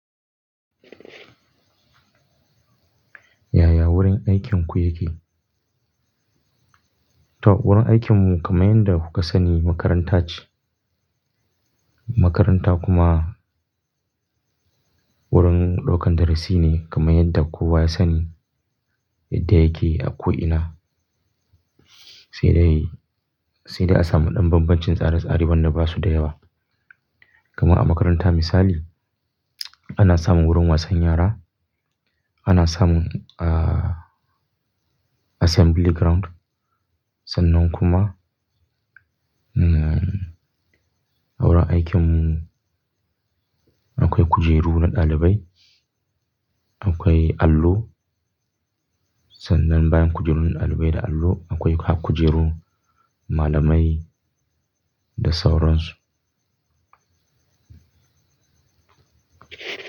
Yaya wurin aikinku yake? Toh, wurin aikinmu kamar yadda kuka sani makaranta ce. Makaranta kuma wurin ɗaukan darasi ne kamar yadda kowa ya sani yadda yake a ko ina. Sai dai, sai dai a samu ɗan bambancin tsare-tsare wanda ba su da yawa. Kamar a makaranta misali ana samun wurin wasan yara, ana samun, ah, assembling ground sannan kuma, um, a wurin aikinmu akwai kujeru na ɗalibai, akwai allo. Sannan bayan kujerun ɗalibai da allo akwai har kujerun malamai da sauransu.